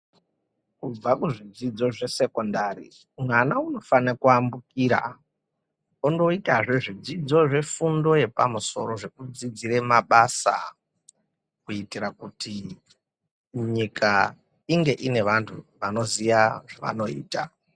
Kubva kuzvidzidzo zvesekondari mwana unofana kuambukira ondoitazve zvidzidzo zvefundo yepamusoro zvekudzidzira mabasa. Kuitira kuti nyika inge ine vantu vanoziya zvavanoita.